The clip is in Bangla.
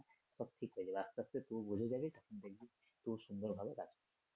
সব ঠিক হয়ে যাবে আস্তে আস্তে তুইও বুঝে যাবি তখন দেখবি খুব সুন্দর হবে কাজটা।